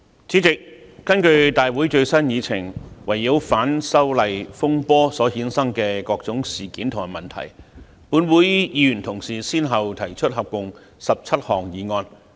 主席，根據立法會會議最新議程，圍繞反修例風波所衍生的各種事件及問題，本會議員同事先後提出合共17項議案。